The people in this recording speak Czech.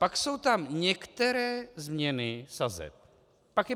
Pak jsou tam některé změny sazeb.